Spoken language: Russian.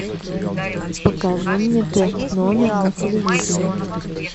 покажи мне т номер на телевизоре